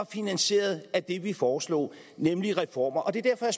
finansieret af det som vi foreslår nemlig reformer det er derfor at